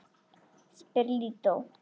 spyr Lídó.